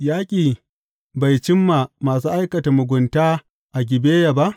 Yaƙi bai cimma masu aikata mugunta a Gibeya ba?